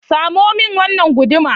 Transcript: Samo min wannan guduma.